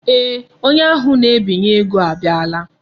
Eeh, onye ahụ na-ebinye ego abiala.